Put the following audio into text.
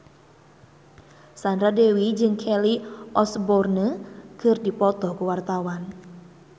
Sandra Dewi jeung Kelly Osbourne keur dipoto ku wartawan